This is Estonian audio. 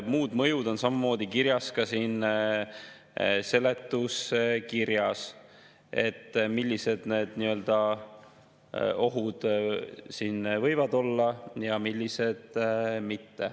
Muu mõju on samamoodi kirjas ka siin seletuskirjas, et millised need ohud siin võivad olla ja millised mitte.